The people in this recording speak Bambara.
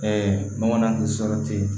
n bamanan tɛ sɔrɔ ten